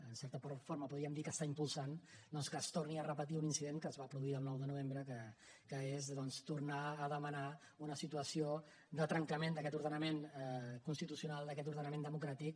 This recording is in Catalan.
en certa forma podríem dir que impulsa doncs que es torni a repetir un incident que es va produir el nou de novembre que és tornar a demanar una situació de trencament d’aquest ordenament constitucional d’aquest ordenament democràtic